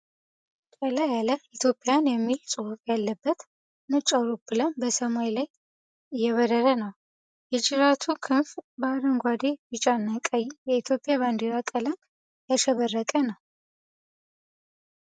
ቀላ ያለ 'ethiopian' የሚል ጽሑፍ ያለበት ነጭ አውሮፕላን በሰማያዊ ሰማይ ላይ እየበረረ ነው። የጅራቱ ክንፍ በአረንጓዴ፣ ቢጫና ቀይ የኢትዮጵያ ባንዲራ ቀለም ያሸበረቀ ነው።